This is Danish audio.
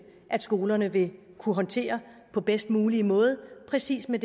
at skolerne vil kunne håndtere på bedst mulig måde præcis med